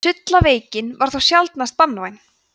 sullaveikin var þó sjaldnast banvæn